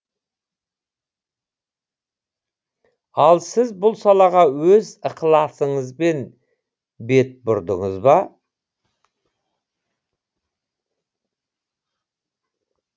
ал сіз бұл салаға өз ықыласыңызбен бет бұрдыңыз ба